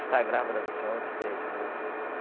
Está grávida do senhor de três meses.